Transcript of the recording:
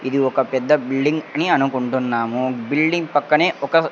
ఇది ఒక పెద్ద బిల్డింగ్ అని అనుకుంటున్నాము బిల్డింగ్ పక్కనే ఒక.